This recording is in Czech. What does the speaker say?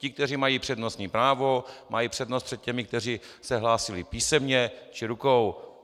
Ti, kteří mají přednostní právo, mají přednost před těmi, kteří se hlásili písemně či rukou.